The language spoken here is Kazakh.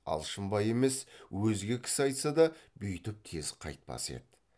алшынбай емес өзге кісі айтса да бүйтіп тез қайтпас еді